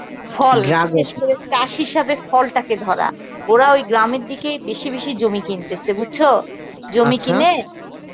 ফল বিশেষ করে চাস হিসাবে ফলটাকে ধরা, ওরা ওই গ্রামের দিকে বেশি বেশি জমি কিন্তেসে বুজছো